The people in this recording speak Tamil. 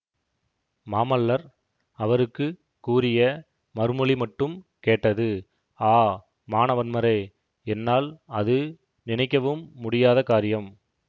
மாமல்லர் அவருக்கு கூறிய மறுமொழி மட்டும் கேட்டது ஆ மானவன்மரே என்னால் அது நினைக்கவும் முடியாத காரியம்